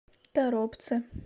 торопце